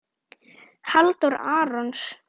Halldór Arason.